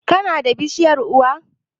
Kana da kishiyar uwa?